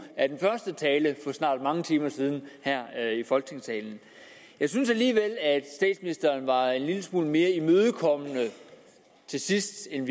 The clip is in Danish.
af den første tale for snart mange timer siden her i folketingssalen jeg synes alligevel at statsministeren var en lille smule mere imødekommende her til sidst end